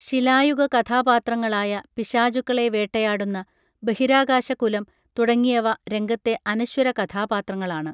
ശിലായുഗ കഥാപാത്രങ്ങളായ പിശാചുക്കളെ വേട്ടയാടുന്ന ബഹിരാകാശ കുലം തുടങ്ങിയവ രംഗത്തെ അനശ്വര കഥാപാത്രങ്ങളാണ്